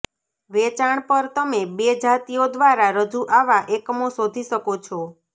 વેચાણ પર તમે બે જાતિઓ દ્વારા રજૂ આવા એકમો શોધી શકો છો